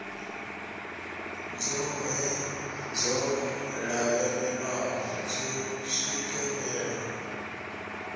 dzoṱhe dzo lavhelelwaho dzo swikelelwa